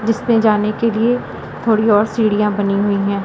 जिस में जाने के लिए थोड़ी और सीढ़ियां बनी हुई हैं।